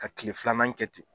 Ka tile filanan kɛ ten